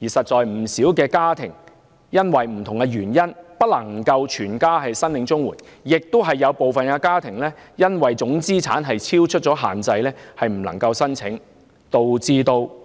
事實上，不少家庭因為種種原因不能全家申領綜援，亦有部分家庭因為總資產超出限制而不能申請，導致